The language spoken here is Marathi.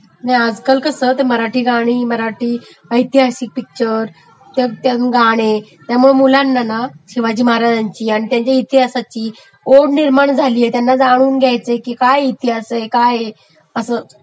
नाही आज काल कसं ते मराठी गाणी , मराठी ऐतिहासिक पिक्चर त्यातली गाणे त्यमुळे कसं मुलांना ना शिवाजी महाराज आणि शिवाजी महाराज्यांच्या इतिहासाची ओढ वाटू लागली, त्यांना जाणून घ्याचय काय इतिहास आहे हे काय आहे असं...